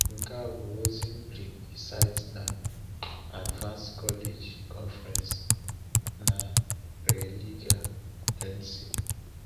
Nke a bụ ozi mkpirikpi site na *Advance College Conference* na Raleigh, NC.